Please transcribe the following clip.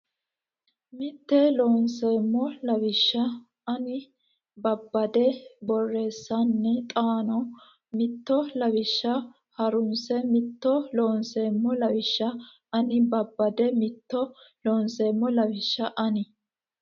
Mitto Loonseemmo lawishsha ani babbade borreessanna xaano mitto lawishsha ha runse Mitto Loonseemmo lawishsha ani babbade Mitto Loonseemmo lawishsha ani.